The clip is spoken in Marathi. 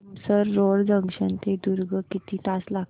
तुमसर रोड जंक्शन ते दुर्ग किती तास लागतील